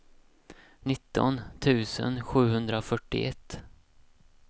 nitton tusen sjuhundrafyrtioett